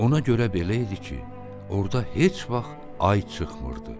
Ona görə belə idi ki, orda heç vaxt ay çıxmırdı.